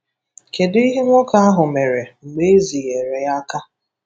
Kedụ ihe nwoke ahụ mere mgbe ezinyere ya aka?